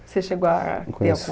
Você chegou a te